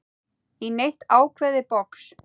í neitt ákveðið box.